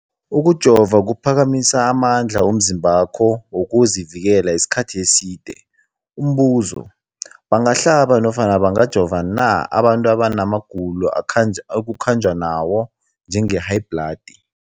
Ukujova kuphakamisa amandla womzimbakho wokuzivikela isikhathi eside. Umbuzo, bangahlaba nofana bangajova na abantu abana magulo ekukhanjwa nawo, njengehayibhladi?